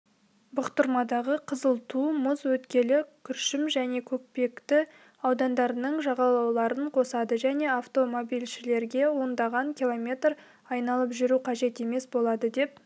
бұқтырмадағы қызыл ту мұз өткелі күршім және көкпекті аудандарының жағалауларын қосады және автомобильшілерге ондаған километр айналып жүру қажет емес болады деп